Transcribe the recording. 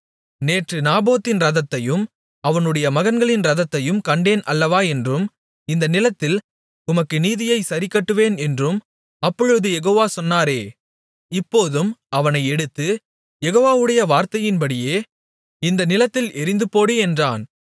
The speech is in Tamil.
நேற்று நாபோத்தின் இரத்தத்தையும் அவனுடைய மகன்களின் இரத்தத்தையும் கண்டேன் அல்லவா என்றும் இந்த நிலத்தில் உனக்கு நீதியைச் சரிக்கட்டுவேன் என்றும் அப்பொழுது யெகோவா சொன்னாரே இப்போதும் அவனை எடுத்து யெகோவாவுடைய வார்த்தையின்படியே இந்த நிலத்தில் எறிந்துபோடு என்றான்